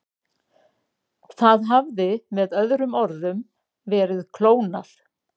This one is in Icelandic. Það hafði með öðrum orðum verið klónað.